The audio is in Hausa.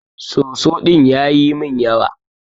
Soso din yayi min yawa.